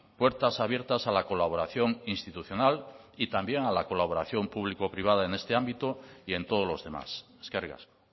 puertas abiertas a la colaboración institucional y también a la colaboración público privada en este ámbito y en todos los demás eskerrik asko